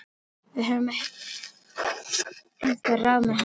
Við höfum einhver ráð með hann.